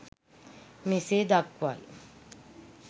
මෙසේ දක්වයි.